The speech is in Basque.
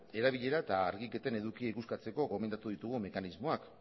erabilera eta argiketen edukia ikuskatzeko gomendatu ditugun mekanismoak